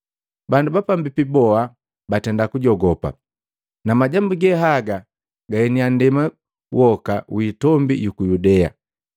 Bandu bapambipi boha batenda kujogopa, na majambu ge haga gaeniya nndema yoka yiitombi yuku Yudea.